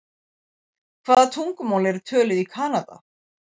Hvaða tungumál eru töluð í Kanada?